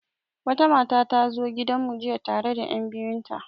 Wata mata ta zo gidan mu jiya tare da enbiyu nata.